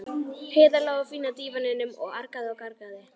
Heiða lá á fína dívaninum og argaði og gargaði.